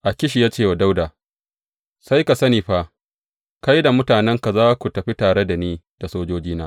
Akish ya ce wa Dawuda, Sai ka sani fa, kai da mutanenka za ku tafi tare da ni da sojojina.